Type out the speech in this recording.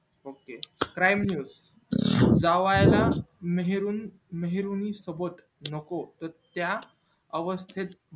ok prime news जव्हा ना नेहरुं नेहरुं सोबत नको त त्या अवस्तेत